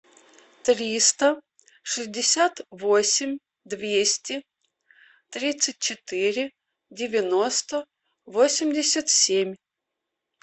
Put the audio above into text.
триста шестьдесят восемь двести тридцать четыре девяносто восемьдесят семь